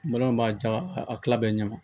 b'a ja a tila bɛɛ ɲɛ ma